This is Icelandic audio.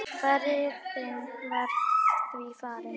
Ferðin var því farin.